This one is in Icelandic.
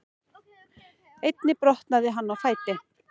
Einnig brotnaði hann á fæti